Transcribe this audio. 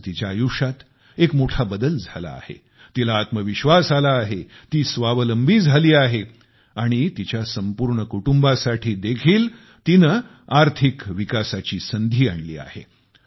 आज तिच्या आयुष्यात एक मोठा बदल झाला आहे तिला आत्मविश्वास आला आहे ती स्वावलंबी झाली आहे आणि तिच्या संपूर्ण कुटुंबासाठी देखील तिने आर्थिक विकासाची संधी आणली आहे